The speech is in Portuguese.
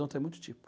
tem muito tipo.